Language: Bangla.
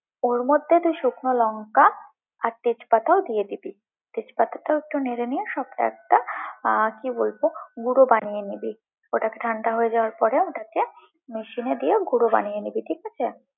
ওর মধ্যে তুই শুকনো লঙ্কা, আর তেজপাতাও দিয়ে দিবি, তেজপাতা একটু নেড়ে নিয়ে সবটা একটা, আহ কি বলবো, গুঁড়ো বানিয়ে নিবি, ওটা ঠান্ডা হয়ে যাওয়ার পরে ওটাকে মেশিনে দিয়ে গুঁড়ো করে নিবি, ঠিক আছে?